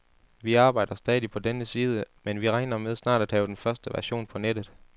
Vi arbejder stadig på denne side, men vi regner med snart at have den første version på nettet.